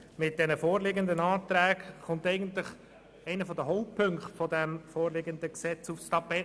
Mit den vorliegenden Anträgen kommt eigentlich einer der Hauptpunkte des vorliegenden Gesetzes aufs Tapet.